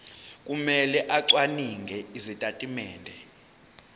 kumele acwaninge izitatimende